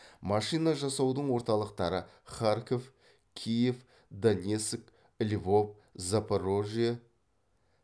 машина жасаудың орталықтары харьков киев донецк львов запорожье